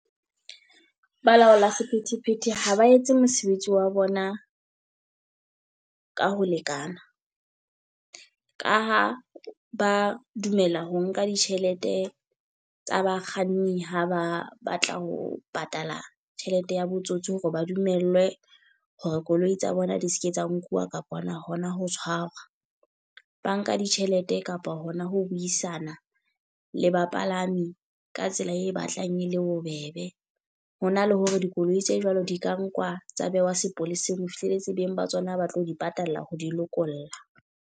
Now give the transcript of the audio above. Balaola sephethephethe ha ba etse mosebetsi wa bona ka ho lekana. Ka ha ba dumela ho nka ditjhelete tsa bakganni ha ba batla ho patala tjhelete ya botsotsi hore ba dumellwe hore koloi tsa bona di seke tsa nkuwa kapa hona hona ho tshwarwa. Ba nka ditjhelete kapa hona ho ho buisana le bapalami ka tsela e batlang e le bobebe. Ho na le hore dikoloi tse jwalo di ka nkwa tsa behwa sepoleseng ho fihlelletse beng ba tsona ba tlo di patalla ho di lokolla.